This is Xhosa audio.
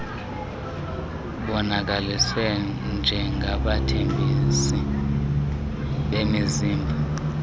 bonakaliswe njengabathengisi bemizimba